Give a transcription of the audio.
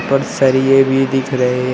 सरिए भी दिख रहे हैं।